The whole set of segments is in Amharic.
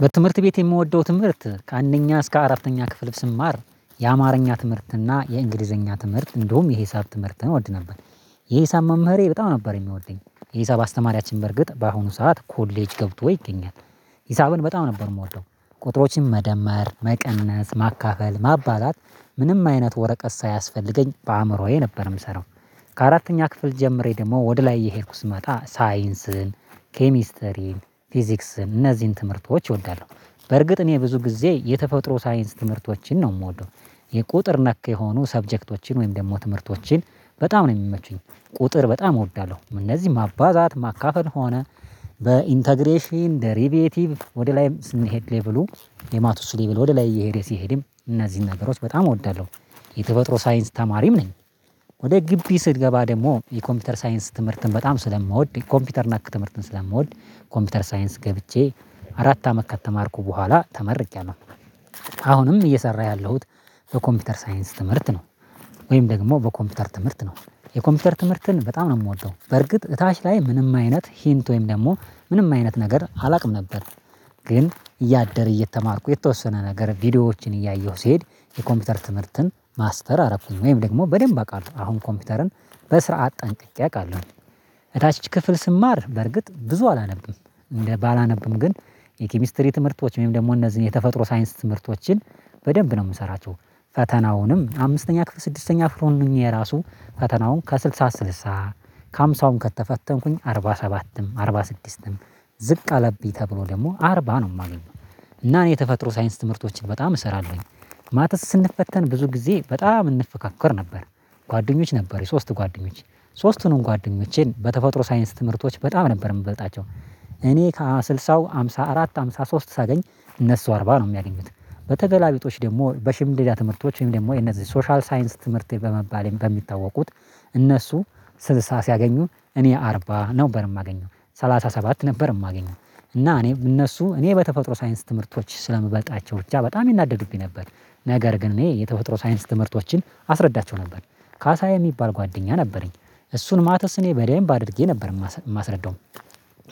በትምህርት ቤት የምወደው ትምህርት ከአንደኛ እስከ አራተኛ ክፍል ስማር የአማርኛ ትምህርት እና የእንግሊዘኛ ትምህርት እንደውም የሂሳብ ትምህርት እንወድ ነበር። የሂሳብ መምህሬ በጣም ነበር የሚወደኝ የሀሳብ አስተማሪያችን በርግጥ በአሁኑ ሰዓት ኮሌጅ ገብቶ ይገኛል። ሂሳብን በጣም ነበር የምወደው ቁጥሮችን መደመር መቀነስ ማካፈል ማባዛት ምንም አይነት ወረቀት ሳያስፈልገኝ በአእምሮዬ ነበር የምሰራው። ከአራተኛ ክፍል ጀምሬ ደግሞ ወደ ላይ የሄድኩ ማታ ሳይንስን ኬሚስተሪን ፊዚክስን እነዚህን ትምህርቶች እወዳለሁ። በርግጥ እኔ ብዙ ጊዜ ሳይንስ ትምህርቶችን ነው የምወደው። የቁጥር ነክ የሆኑ ሳብጀክቶችን ወይም ደግሞ ትምህርቶችን በጣም ነው የሚመቹኝ። ቁጥር በጣም እወዳለሁ እነዚህ ማባዛት ማካፈል ሆነ በኢንተግሬሽን ደሪቢየቲቭ ወደ ላይም ስንሄድ ሌቭሉ የማትሱ ሌቭል ወደ ላይ እየሄደ ሲሄድም እነዚህን ነገሮች በጣም እወዳለሁ። የተፈጥሮ ሳይንስ ተማሪም ነኝ። ወደ ግብ ስገባ ደግሞ የኮምፒውተር ሳይንስ ትምህርትን በጣም ስለምወድ የኮምፒውተር እና ክትምርትን ስለምወድ። ኮምፒውተር ሳይንስ ገብቼ አራት አመት ከተማርኩ በኋላ ተመርቂለሁ። አሁንም እየሰራ ያለሁት በኮምፒውተር ሳይንስ ትምህርት ነው። ወይም ደግሞ በኮምፒውተር ትምህርት ነው። የኮምፒውተር ትምህርትን በጣም ነው የምወጣው በርግጥ እታች ላይ ምንም አይነት ሂንት ወይም ደግሞ ምንም አይነት ነገር አላውቅም ነበር። ግን እያደረ እየተማርኩ የተወሰነ ነገር ቪዲዮዎችን እያየሁ ሲሄድ የኮምፒውተር ትምህርትን ማስተር አረኩኝ ወይም ደግሞ በደንብ አቃለው አሁን ኮምፒውተርን በስራት ጥንቅቄ አውቃለሁ። እታች ክፍል ስማር በርግጥ ብዙ አላነብም እንደ ባላነብም ግን የኪሚስትሪ ትምህርቶች ወይም ደግሞ እነዚህን የተፈጥሮ ሳይንስ ትምህርቶችን በደንብ ነው የምሰራቸው። ፈተናውንም አምስተኛ ክፍል ስድስተኛ ክፍልም ሆኜ ራሱ ፈተናውን ከስልሳ ስልሳ ከሃምሳውም ከተፈተንኩኝ አርባ ሰባትም አርባ ስድስትም ዝቅ አለብኝ ተብሎ ደግሞ አርባ ነው የማገኘው። እና እኔ የተፈጥሮ ሳይንስ ትምህርቶችን በጣም እሰራለሁኝ። ማተስ ስንፈተን ብዙ ጊዜ በጣም እንፈካከር ነበር። ጓደኞች ነበር ሶስት ጓደኞች ሶስቱንም ጓደኞቼን በተፈጥሮ ሳይንስ ትምህርቶች በጣም ነበር የምበልጣቸው። እኔ ከስልሳው ሃምሳ አራት ሃምሳ ሶስት ሳገኝ እነሱ አርባ ነው የሚያገኙት። በተገላቢጦሽ ደግሞ በሽምድዳ ትምህርቶች ወይም ደግሞ የነዚህ ሶሻል ሳይንስ ትምህርት በመባልም በሚታወቁት እነሱ ስልሳ ሲያገኙ እኔ አርባ ነበር የማገኘው ሰላሳ ሰባት ነበር የማገኘው። እና እኔ እነሱ እኔ በተፈጥሮ ሳይንስ ትምህርቶች ስለምበልጣቸው ብቻ በጣም ይናደዱብኝ ነበር። ነገር ግን እኔ የተፈጥሮ ሳይንስ ትምህርቶችን አስረዳቸው ነበር። ካሳየ የሚባል ጓደኛ ነበረኝ። እሱን ማትስ እኔ በደንብ አድርጌ ነበር የማስረዳው።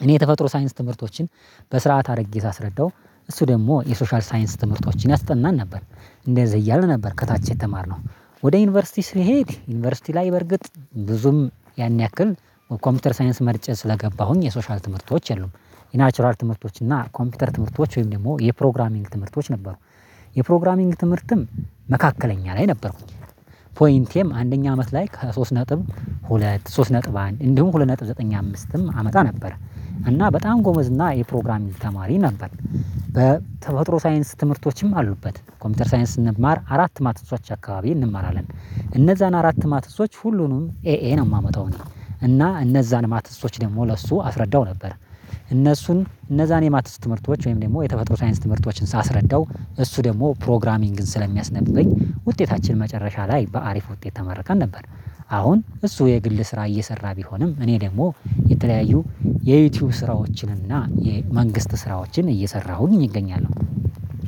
እኔ የተፈጥሮ ሳይንስ ትምህርቶችን በስርዓት አድርጌ ሳስረዳው እሱ ደግሞ የሶሻል ሳይንስ ትምህርቶችን ያስጠናን ነበር። እንደዚህ እያልን ነበር ከታች የተማርነው። ወደ ዩኒቨርሲቲ ስሄድ ዩኒቨርሲቲ ላይ በርግጥ ብዙም ያን ያክል ኮምፒውተር ሳይንስ መርጬ ስለገባሁኝ የሶሻል ትምህርቶች የሉም። የናቹራል ትምህርቶች እና ኮምፒውተር ትምህርቶች ወይም ደግሞ የፕሮግራሚንግ ትምህርቶች ነበሩ። የፕሮግራሚንግ ትምህርትም መካከለኛ ላይ ነበርኩኝ። ፖይንቴም አንደኛ አመት ላይ ከሶስት ነጥብ ሁለት ሶስት ነጥብ አንድ እንዲሁም ሁለት ነጥብ ዘጠኝ አምስትም አመጣ ነበር እና በጣም ጎመዝ እና የፕሮግራም ተማሪ ነበር። በተፈጥሮ ሳይንስ ትምህርቶችም አሉበት ኮምፒውተር ሳይንስ ስንማር አራት ማተሶች አካባቢ እንማራለን እነዛን አራት ማተሶች ሁሉንም ኤኤ ነው የማመጣው። እና እነዛን ማተሶች ደግሞ ለእሱ አስረዳው ነበር እነሱን እነዛን የማትስ ትምህርቶች ወይም ደግሞ የተፈጥሮ ሳይንስ ትምህርቶችን ሳስረዳው እሱ ደግሞ ፕሮግራሚንግን ስለሚያስነብበኝ ውጤታችን መጨረሻ ላይ በአሪፍ ውጤት ተመርከን ነበር። አሁን እሱ የግል ስራ እየሰራ ቢሆንም እኔ ደግሞ የተለያዩ የዩቲዩብ ስራዎችን እና የመንግስት ስራዎችን እየሰራሁኝ እገኛለሁ።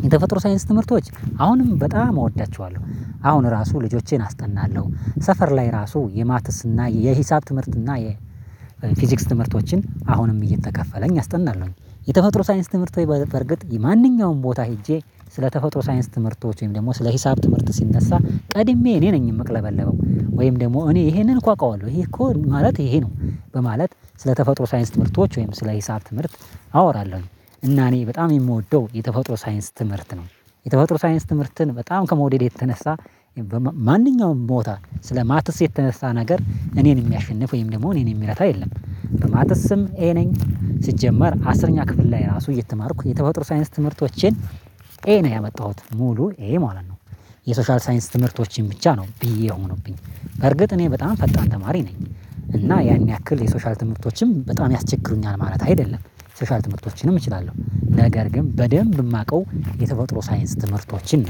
የተፈጥሮ ሳይንስ ትምህርቶች አሁንም በጣም እወዳቸዋለሁ አሁን ራሱ ልጆቼን አስጠናለሁ ሰፈር ላይ ራሱ የማትስ እና የሂሳብ ትምህርት እና የፊዚክስ ትምህርቶችን አሁንም እየተከፈለኝ አስጠናለሁኝ። የተፈጥሮ ሳይንስ ትምህርት በርግጥ የማንኛውም ቦታ ሄጄ ስለ ተፈጥሮ ሳይንስ ትምህርቶች ወይም ደግሞ ስለ ሂሳብ ትምህርት ሲነሳ ቀድሜ እኔ ነኝ የምቅለበለበው ወይም ደግሞ እኔ ይሄንን እኮ አውቃለሁ ይሄ እኮ ማለት ይሄ ነው በማለት ስለተፈጥሮ ሳይንስ ትምህርቶች ወይም ስለ ሂሳብ ትምህርት አወራለሁኝ። እና እኔ በጣም የምወደው የተፈጥሮ ሳይንስ ትምህርት ነው። የተፈጥሮ ሳይንስ ትምህርትን በጣም ከመውደዴ የተነሳ ማንኛውም ቦታ ስለማትስ የተነሳ ነገር እኔን የሚያሸንፍ ወይም ደግሞ እኔን የሚረታ የለም። በማተስም ይሄ ነኝ ሲጀመር አስረኛ ክፍል ላይ ራሱ እየተማርኩ የተፈጥሮ ሳይንስ ትምህርቶችን ኤ ነው ያመጣሁት ሙሉ ኤ ማለት ነው። የሶሻል ሳይንስ ትምህርቶችን ብቻ ነው ቢ የሆኑብኝ በርግጥ እኔ በጣም ፈጣን ተማሪ ነኝ እና ያን ያክል የሶሻል ትምህርቶችም በጣም ያስቸግሩኛል ማለት አይደለም። ሶሻል ትምህርቶችንም እችላለሁ ነገር ግን በደንብ የማውቀው የተፈጥሮ ሳይንስ ትምህርቶችን